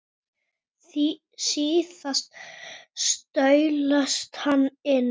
Engu að síður var hitalögninni frá Reykjum í Mosfellssveit lokið og vatni hleypt á hana